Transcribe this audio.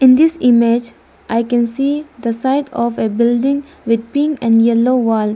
in this image i can see the side of a building with pink and yellow wall.